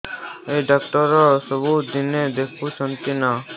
ଏଇ ଡ଼ାକ୍ତର ସବୁଦିନେ ଦେଖୁଛନ୍ତି ନା